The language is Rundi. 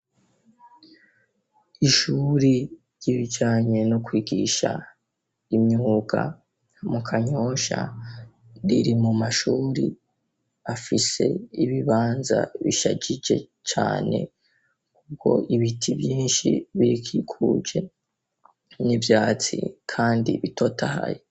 Ishuri ry'ibijyanye no kwigisha imyuga mu kanyosha riri mu mashuri afise ibibanza bishagije cyane kubwo ibiti byinshi birikikuje n'ivyatsi kandi bitotahaye.